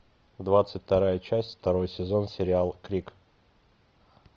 двадцать вторая часть второй сезон сериал крик